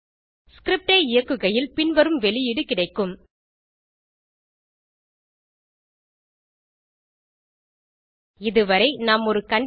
script ஐ இயக்குகையில் பின்வரும் வெளியீடு கிடைக்கும் இது வரை நாம் ஒரு கண்டிஷன்